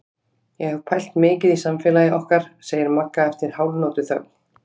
Ég hef pælt mikið í samfélagi okkar, segir Magga eftir hálfnótuþögn.